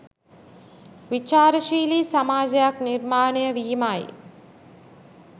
විචාරශීලි සමාජයක් නිර්මාණය වීමයි.